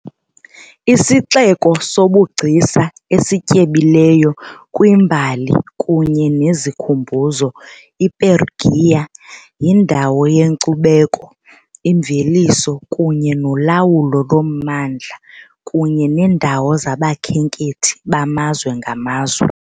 IsiXeko sobugcisa esityebileyo kwimbali kunye nezikhumbuzo, iPerugia yindawo yenkcubeko, imveliso kunye nolawulo lommandla, kunye neendawo zabakhenkethi bamazwe ngamazwe.